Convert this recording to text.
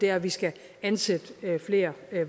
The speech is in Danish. er at vi skal ansætte flere